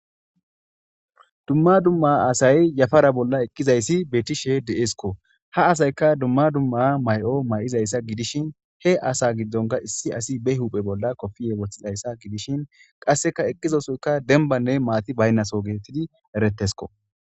Dumma dumma asay yafara bolla eqqizayssi beetishe de7eskko ha asayka dumma dumma may'o may'izayssa gidishin he asa giddonka issi asi be huphe bolla kofiye wothizayssa gidishin qasseka eqqizosoyka denbanne maati baynnaso geettidi eretesko